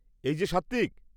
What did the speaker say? এই যে সাত্ত্বিক!